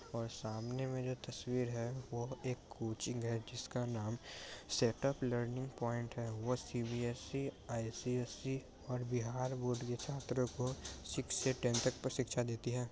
और सामने में जो तस्वीर है वो एक कोचिंग है जिसका नाम सेटअप लर्निंग पॉइंट है वो सी_बी_एस_सी आई_सी_एस_ई और बिहार बोर्ड बी छात्र को सिक्स से टेन तक पर शिक्षा देती है।